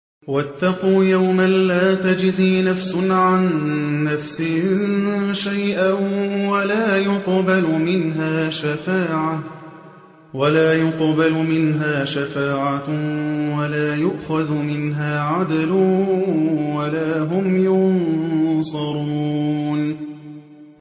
وَاتَّقُوا يَوْمًا لَّا تَجْزِي نَفْسٌ عَن نَّفْسٍ شَيْئًا وَلَا يُقْبَلُ مِنْهَا شَفَاعَةٌ وَلَا يُؤْخَذُ مِنْهَا عَدْلٌ وَلَا هُمْ يُنصَرُونَ